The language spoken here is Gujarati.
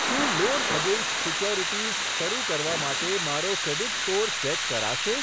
શું લોન અગેન્સ્ટ સિક્યુરિટીઝ શરુ કરવા માટે મારો ક્રેડીટ સ્કોર ચેક કરાશે?